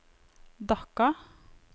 Dhaka